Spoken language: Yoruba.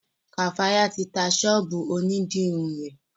Kafaya ti tá sọ́ọ̀bù òní dirun rẹ.